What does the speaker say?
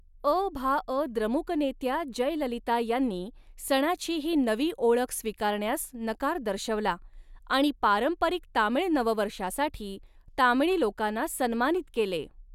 अ भा अ द्रमुक नेत्या जयललिता यांनी, सणाची ही नवी ओळख स्वीकारण्यास नकार दर्शवला, आणि पारंपरिक तामीळ नववर्षासाठी, तामिळी लोकांना सन्मानित केले.